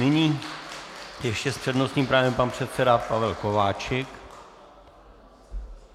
Nyní ještě s přednostním právem pan předseda Pavel Kováčik.